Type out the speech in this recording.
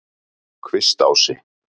Kvistási